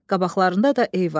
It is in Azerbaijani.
Qabaqlarında da Eyvaz.